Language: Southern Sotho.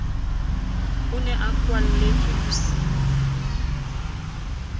o ne a kwalletswe bosiung